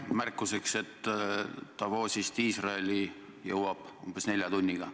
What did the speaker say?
Märkuseks nii palju, et Davosist Iisraeli jõuab umbes nelja tunniga.